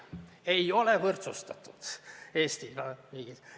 Need ei ole võrdsustatud Eesti riigis.